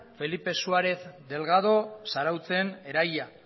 felipe suárez delgado zarautzen eraila